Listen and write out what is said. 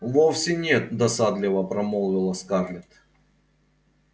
вовсе нет досадливо промолвила скарлетт